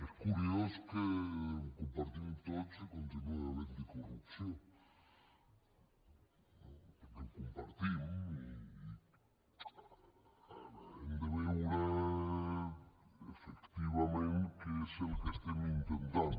és curiós que ho compartim tots i continua havent hi corrupció no perquè ho compartim i hem de veure efectivament què és el que estem intentant